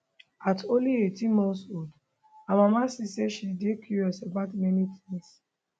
at only 18 months old her mama see say she dey curious about many tins